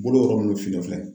Bolo yɔrɔ minnu finnen filɛ